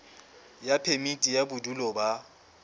ya phemiti ya bodulo ba